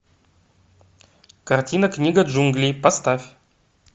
картина книга джунглей поставь